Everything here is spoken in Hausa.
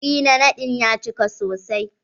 Wuri na naɗin ya cika sosai.